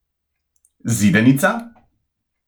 Zidanica?